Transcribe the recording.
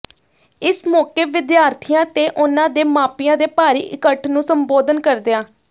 ਇਸ ਮੌਕੇ ਵਿਦਿਆਰਥੀਆਂ ਤੇ ਉਨ੍ਹਾਂ ਦੇ ਮਾਪਿਆਂ ਦੇ ਭਾਰੀ ਇਕੱਠ ਨੰੁੂ ਸੰਬੋਧਨ ਕਰਦਿਆ